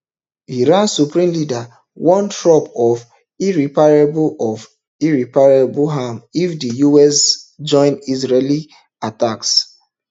iran supreme leader warn trump of irreparable of irreparable harm if di us join israeli attacks